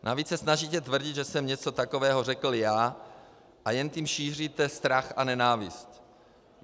Navíc se snažíte tvrdit, že jsem něco takového řekl já, a jen tím šíříte strach a nenávist.